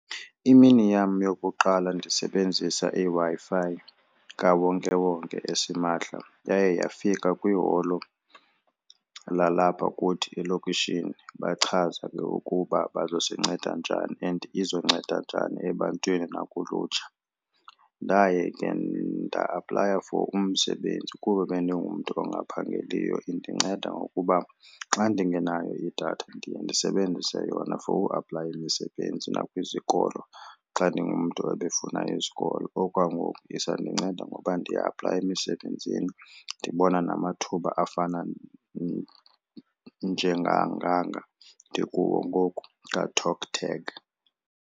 Imini yam yokuqala ndisebenzisa iWi-Fi kawonkewonke esimahla yaye yafika kwiholo lalapha kuthi elokishini bachaza ke ukuba bazosinceda njani and izonceda njani ebantwini nakulutsha. Ndaye ke nda-aplaya for umsebenzi kuba bendingumntu ongaphangeliyo. Indinceda ngokuba xa ndingenayo idatha ndiye ndisebenzise yona for uaplayela imisebenzi nakwizikolo xa ndingumntu ebefuna isikolo. Okwangoku isandinceda ngoba ndiaplaye emisebenzini ndibona namathuba afana njenganganga ndikuwo ngoku kaTalkTag.